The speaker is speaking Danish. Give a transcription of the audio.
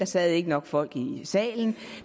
sad nok folk i salen at